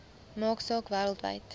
maak saak wêreldwyd